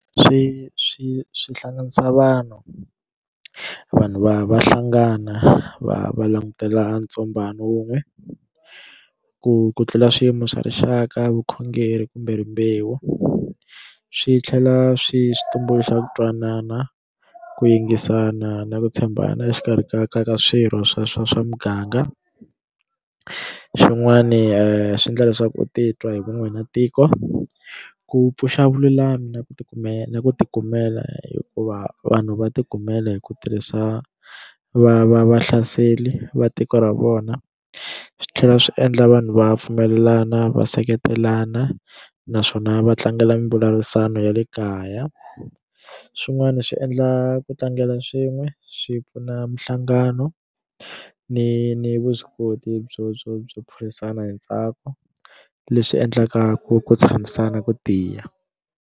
Swi swi swi hlanganisa vanhu vanhu va va hlangana va va langutela ntsombhano wun'we ku ku tlula swiyimo swa rixaka vukhongeri kumbe rimbewu swi tlhela swi swi tumbuluxa ku twanana ku yingisana na ku tshembana exikarhi ka ka ka swirho swa swa swa muganga xin'wani swi endla leswaku u titwa hi vun'we na tiko ku pfuxa vululami na ku tikumela ku tikumela hikuva vanhu va ti kumela hi ku tirhisa va va vahlaseli va tiko ra vona swi tlhela swi endla vanhu va pfumelelana va seketelana naswona va tlangela mimbulavurisano ya le kaya swin'wana swi endla ku tlangela swin'we swi pfuna minhlangano ni ni vuswikoti byo byo byo phikizana hi ntsako leswi endlaka ku ku tshamisana ku tiya.